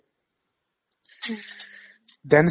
then